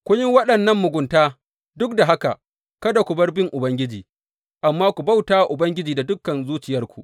Kun yi waɗannan mugunta duk da haka kada ku bar bin Ubangiji, amma ku bauta wa Ubangiji da dukan zuciyarku.